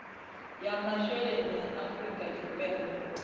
ya masheleni ya afrika tshipembe